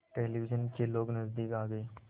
television के लोग नज़दीक आ गए